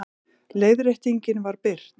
Leiðréttingin var birt